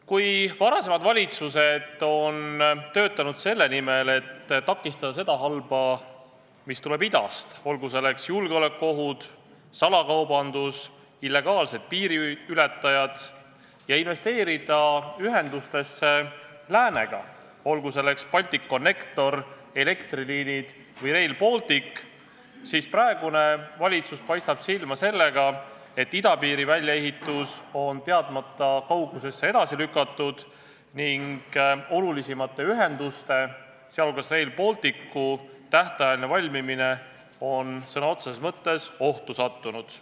Kui varasemad valitsused on töötanud selle nimel, et takistada seda halba, mis tuleb idast – olgu selleks julgeolekuohud, salakaubandus või illegaalsed piiriületajad –, ja investeerida ühendusse läänega – olgu selleks Balticconnector, elektriliinid või Rail Baltic –, siis praegune valitsus paistab silma sellega, et idapiiri väljaehitus on teadmata kaugusesse edasi lükatud ning olulisimate ühendusteede, sh Rail Balticu tähtajaline valmimine on sõna otseses mõttes ohtu sattunud.